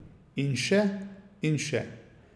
In še in še.